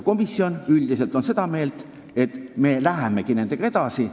Komisjon on üldiselt seda meelt, et me läheme nendega tegelemisega edasi.